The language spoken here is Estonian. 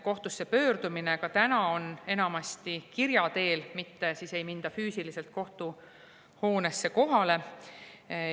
Kohtusse pöördutakse ka täna enamasti kirja teel, mitte ei minda füüsiliselt kohtuhoonesse kohale.